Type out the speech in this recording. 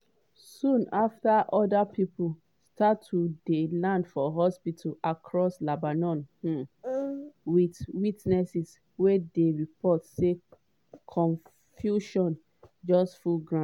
soon after oda pipo start to dey land hospitals across lebanon um with witnesses wey dey report say confusion just full ground.